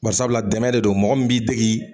Nbarisabula dɛmɛ de don mɔgɔ min b'i dege.